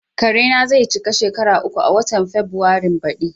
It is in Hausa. Karena zai cika shekara uku a watan Fabrairun baɗi.